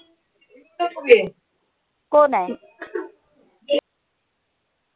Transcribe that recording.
cone I